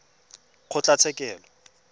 kgotlatshekelo